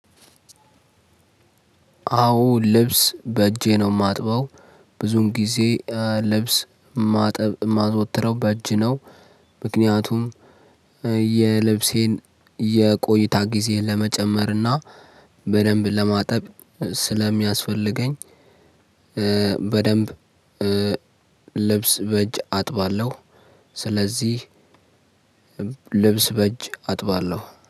አዎ ልብስ በእጄ ነው የማጥበው ብዙውን ጊዜ ልብስ ማጠብ የማዘወትረው በእጅ ነው ምክንያቱም የልብሴን የቆይታ ጊዜ ለመጨመርና በደንብ ለማጠብ ስለሚያስፈልገኝ በደንብ ልብስ በእጅ አጥባለሁ። ስለዚህ ልብስ በእጅ አጥባለሁ።